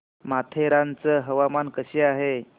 माथेरान चं हवामान कसं आहे